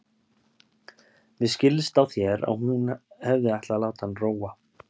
Mér skildist á þér að hún hefði ætlað að láta hann róa.